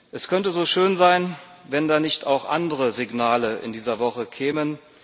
Es könnte so schön sein, wenn da nicht auch andere Signale in dieser Woche kämen.